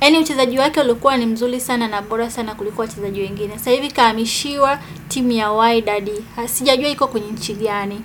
Eti mchezaji wake alikuwa ni mzuri sana na bora sana kuliko wachezaji wengine. Saa hivi kahamishiwa timu ya Wydad. Sijajua iko kwenye nchi gani.